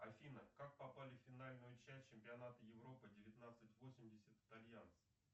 афина как попали в финальную часть чемпионата европы девятнадцать восемьдесят итальянцы